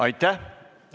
Aitäh!